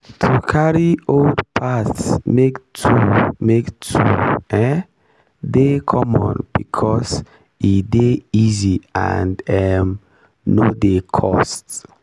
to carry old parts make tool make tool um dey common becos e dey easy and um no dey cost.